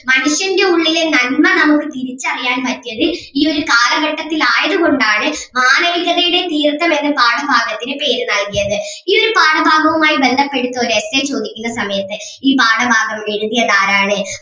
മനുഷ്യൻ്റെ ഉള്ളിലെ നന്മ നമുക്ക് തിരിച്ചറിയാൻ പറ്റിയത് ഈ ഒരു കാലഘട്ടത്തിൽ ആയത് കൊണ്ട് ആണ് മാനവികതയുടെ തീർത്ഥം എന്ന് പാഠഭാഗത്തിന് പേര് നൽകിയത് ഈ ഒരു പാഠഭാഗവുമായി ബന്ധപ്പെട്ടിട്ട് ഒരു essay ചോദിക്കുന്ന സമയത്ത് ഈ പാഠഭാഗം എഴുതിയത് ആരാണ്?